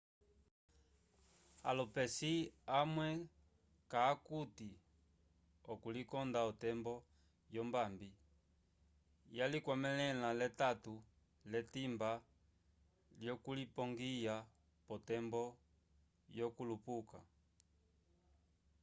alupesi amuhe ca akute okulikonda otembo yombabi yalicwamelela letato lyetimba lyokulipongwya potembo yokulupuka